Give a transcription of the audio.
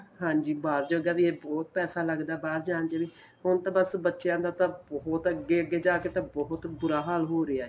ਹਾਂਜੀ ਬਾਹਰ ਜੋਗਾ ਵੀ ਇਹ ਬਹੁਤ ਪੈਸਾ ਲੱਗਦਾ ਬਾਹਰ ਜਾਣ ਚ ਵੀ ਹੁਣ ਤਾਂ ਬੱਸ ਬੱਚਿਆਂ ਦਾ ਤਾਂ ਬਹੁਤ ਅੱਗੇ ਜਾ ਕੇ ਬਹੁਤ ਬੁਰਾ ਹਾਲ ਹੋ ਰਿਹਾ ਏ